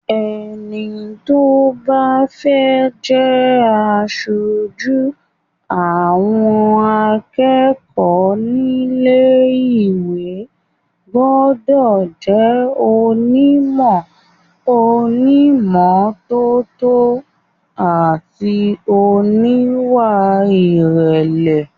Ẹni tó bá fẹ́ jẹ aṣojú àwọn akẹ́kọ̀ọ́ nílé ìwé gbọ́dọ̀ jẹ́ onímọ̀, oní ìmọ́tótó àti oníwà ìrẹ̀lẹ̀.